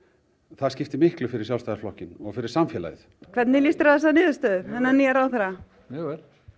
það skiptir miklu fyrir Sjálfstæðisflokkinn og fyrir samfélagið hvernig líst þér á þessa niðurstöðu þennan nýja ráðherra mjög